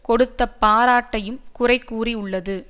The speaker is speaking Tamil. கொடுத்த பாராட்டையும் குறைகூறி உள்ளது